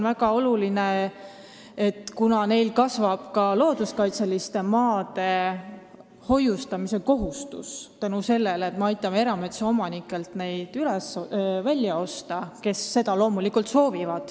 RMK-l kasvab nüüd looduskaitseliste maade hoidmise kohustus, sest me aitame neid erametsaomanikelt välja osta – neilt, kes seda soovivad.